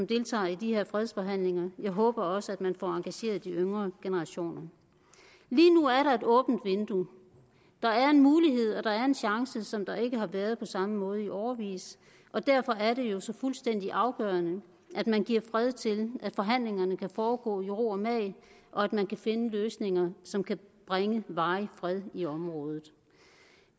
deltager i de her fredsforhandlinger jeg håber også at man får engageret de yngre generationer lige nu er der et åbent vindue der er en mulighed og der er en chance som der ikke har været på samme måde i årevis og derfor er det jo så fuldstændig afgørende at man giver fred til at forhandlingerne kan foregå i ro og mag og at man kan finde løsninger som kan bringe varig fred i området